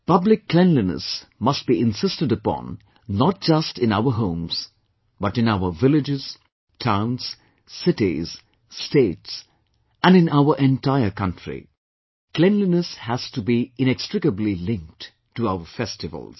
Public cleanliness must be insisted upon not just in our homes but in our villages, towns, cities, states and in our entire country Cleanliness has to be inextricably linked to our festivals